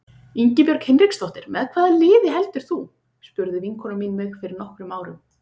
Ingibjörg Hinriksdóttir Með hvaða liði heldur þú? spurði vinkona mín mig fyrir nokkrum árum.